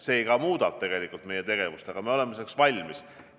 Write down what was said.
See muudab samuti meie tegevust, aga me oleme selleks valmis.